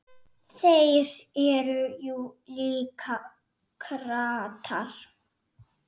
Þeir eru jú líka kratar.